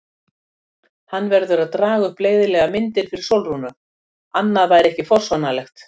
Hann verður að draga upp leiðinlegar myndir fyrir Sólrúnu, annað væri ekki forsvaranlegt.